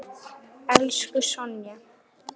Elsku Sonja.